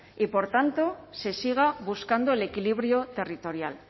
y por tanto se siga buscando el equilibrio territorial